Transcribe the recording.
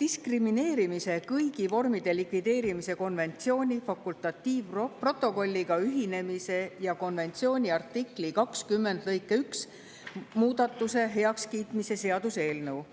diskrimineerimise kõigi vormide likvideerimise konventsiooni fakultatiivprotokolliga ühinemise ja konventsiooni artikli 20 lõike 1 muudatuse heakskiitmise seaduse eelnõu.